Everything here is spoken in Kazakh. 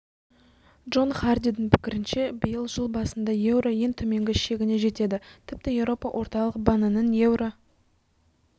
джон хардидің пікірінше биыл жыл басында еуро ең төменгі шегіне жетеді тіпті еуропа орталық банінің еуро